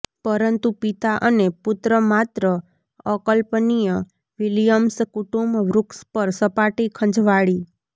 પરંતુ પિતા અને પુત્ર માત્ર અકલ્પનીય વિલિયમ્સ કુટુંબ વૃક્ષ પર સપાટી ખંજવાળી